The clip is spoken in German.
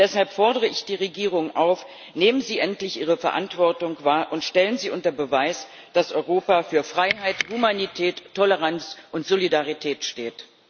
Deshalb fordere ich die Regierungen auf Nehmen Sie endlich Ihre Verantwortung wahr und stellen Sie unter Beweis, dass Europa für Freiheit, Humanität, Toleranz und Solidarität steht!